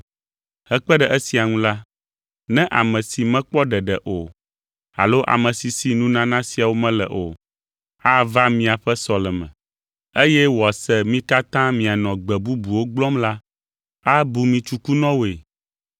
Hekpe ɖe esia ŋu la, ne ame si mekpɔ ɖeɖe o alo ame si si nunana siawo mele o, ava miaƒe sɔleme, eye wòase mi katã mianɔ gbe bubuwo gblɔm la, abu mi tsukunɔwoe.